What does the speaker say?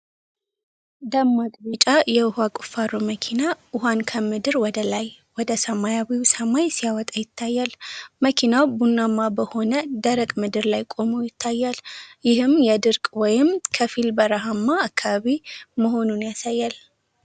ደማቅ ቢጫ የውሃ ቁፋሮ መኪና (drilling rig) ውሃን ከምድር ላይ ወደ ሰማያዊው ሰማይ ሲያወጣ ይታያል። መኪናው ቡናማ በሆነ፣ ደረቅ ምድር ላይ ቆሞ ይታያል፤ ይህም የድርቅ ወይም ከፊል በረሃማ አካባቢ መሆኑን ያሳያል።